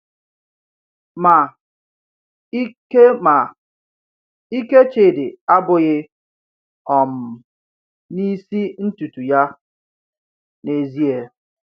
Ma, ike Ma, ike Chidi abụghị um n’isi ntutu ya n’ezie.